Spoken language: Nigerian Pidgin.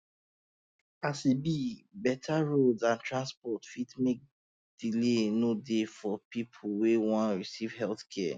um as e be better roads and transport fit make delay no dey for people wey one receive healthcare